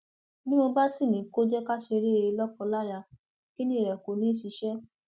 bí mo bá sì ní kó jẹ ká ṣe eré lọkọláya kinní rẹ kó ní í ṣiṣẹ